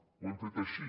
ho hem fet així